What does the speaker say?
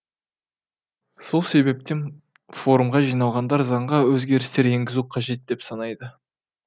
сол себептен форумға жиналғандар заңға өзгерістер енгізу қажет деп санайды